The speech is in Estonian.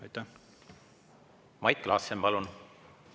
Mait Klaassen, palun!